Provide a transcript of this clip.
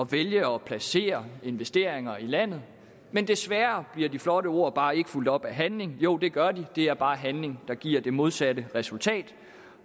vælge at placere investeringer i landet men desværre bliver de flotte ord bare ikke fulgt op af handling jo det gør de det er bare handling der giver det modsatte resultat